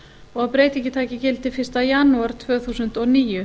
og að breytingin taki gildi fyrsta janúar tvö þúsund og níu